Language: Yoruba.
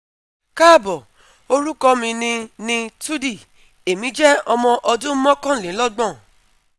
Kaabo, orukọ mi ni ni Tudy Emi jẹ ọmọ ọdun mọkanlelọgbọn